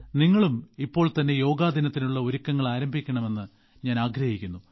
നിങ്ങളും ഇപ്പോൾ തന്നെ യോഗാദിനത്തിനുള്ള ഒരുക്കങ്ങൾ ആരംഭിക്കണമെന്ന് ഞാൻ ആഗ്രഹിക്കുന്നു